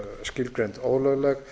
skilgreind ólögleg